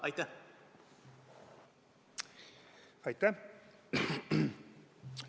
Aitäh!